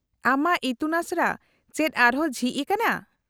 -ᱟᱢᱟᱜ ᱤᱛᱩᱱᱟᱥᱲᱟ ᱪᱮᱫ ᱟᱨ ᱦᱚᱸ ᱡᱷᱤᱡ ᱟᱠᱟᱱᱟ ?